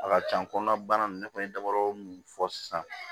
A ka ca kɔnɔna bana ninnu ne kɔni ye dabarɔmu mun fɔ sisan